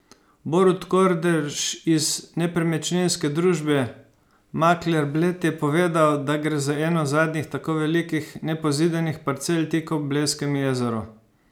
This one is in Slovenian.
Borut Kordež iz nepremičninske družbe Makler Bled je povedal, da gre za eno zadnjih tako velikih nepozidanih parcel tik ob Blejskem jezeru.